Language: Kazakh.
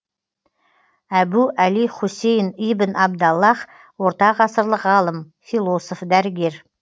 әбу әли хусейн ибн абдаллах ортағасырлық ғалым философ дәрігер